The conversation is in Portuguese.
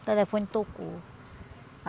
O telefone tocou.